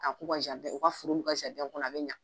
A k'u ka u ka foro n'u ka kɔnɔ a bɛ ɲa.